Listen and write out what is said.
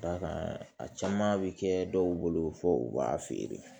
Dakan a caman bɛ kɛ dɔw bolo fo u b'a feere